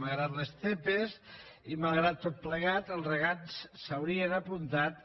malgrat les zepa i malgrat tot plegat els regants s’hi haurien apuntat